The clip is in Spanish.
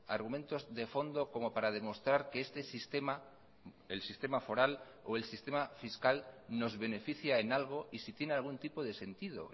argumentos de fondo como para demostrar que este sistema el sistema foral o el sistema fiscal nos beneficia en algo y si tiene algún tipo de sentido